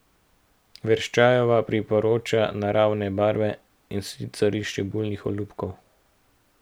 Verščajeva priporoča naravne barve, in sicer iz čebulnih olupkov.